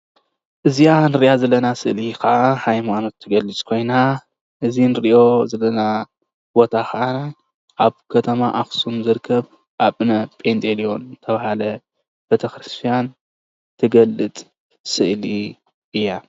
እዚኣ ንሪአ ዘለና ስእሊ ከዓ ሃይማሎት ትገልፅ ኮይና። እዚ ንሪኦ ዘለና ቦታ ከዓ አብ ከተማ አክሱም ዝርከብ አብነ ጲንጦሎን ዝተባህለ ቤተክርስቲያን ትገልፅ ስእሊ እያ፡፡